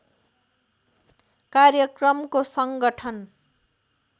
कार्यक्रमको सङ्गठन